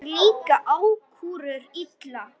Þér líka ákúrur illa.